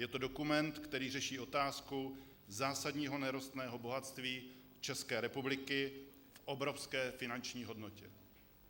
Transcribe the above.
Je to dokument, který řeší otázku zásadního nerostného bohatství České republiky v obrovské finanční hodnotě.